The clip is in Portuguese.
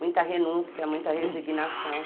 Muita renúncia, muita resignação.